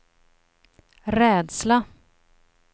rädsla